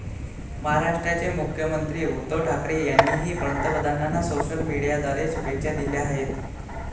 महाराष्ट्राचे मुख्यमंत्री उद्धव ठाकरे यांनीही पंतप्रधानांना सोशल मीडियाद्वारे शुभेच्छा दिल्या आहेत.